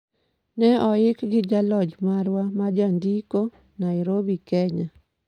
Ne oik gi jalony marwa majandiko, Nairobi, Kenya.